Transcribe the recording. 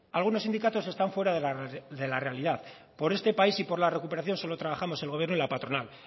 algunos sindicatos están fuera de la realidad por este país y por la recuperación solo trabajamos el gobierno y la patronal